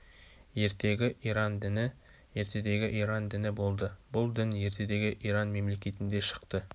ертегі иран діні ертедегі иран діні болды бұл дін ертедегі иран мемлекетінде шықты